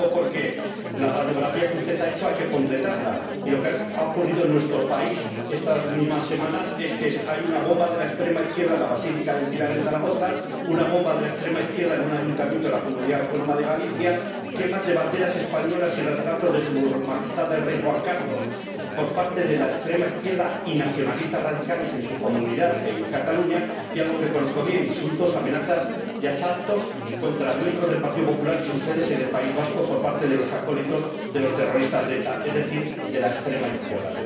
Lo digo porque la radiografía que usted ha hecho hay que completarla, y lo que ha ocurrido en nuestro país estas mismas semanas es que hay una bomba de la extrema izquierda en la Basílica del Pilar, en Zaragoza, una bomba de la extrema izquierda en un ayuntamiento de la comunidad autónoma de Galicia, quemas de banderas españolas y de retratos de Su Majestad el Rey Juan Carlos por parte de la extrema izquierda y nacionalistas radicales en su comunidad, en Cataluña, y algo que conozco bien insultos, amenazas y asaltos contra miembros del Partido Popular y sus sedes en el País Vasco por parte de los acólitos de los terroristas de ETA, es decir, de la extrema izquierda.